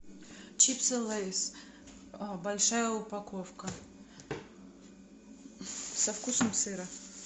чипсы лейс большая упаковка со вкусом сыра